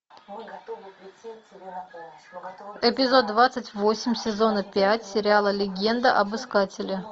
эпизод двадцать восемь сезона пять сериала легенда об искателе